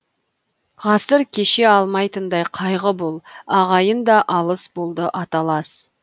ғасыр кеше алмайтындай қайғы бұл ағайын да алыс болды аталас